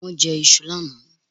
Wón jẹ iṣu lánàá